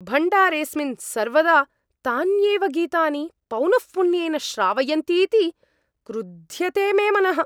भण्डारेऽस्मिन् सर्वदा तान्येव गीतानि पौनःपुन्येन श्रावयन्तीति क्रुद्ध्यते मे मनः।